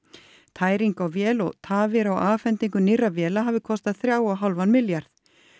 tæring á vél og tafir á afhendingu nýrra véla hafi kostað þrjá og hálfan milljarð